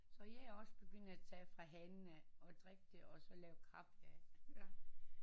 Så jeg er også begyndt at tage fra hanen af og drikke det og så lave kaffe af